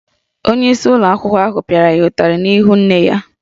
Onyeisi ụlọ akwụkwọ ahụ pịara ya ụtarị n’ihu nne ya